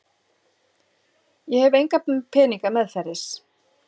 Ég hef enga peninga meðferðis.